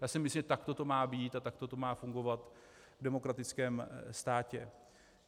Já si myslím, že takto to má být a takto to má fungovat v demokratickém státě.